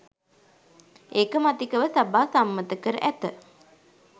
ඒකමතිකව සභා සම්මත කර ඇත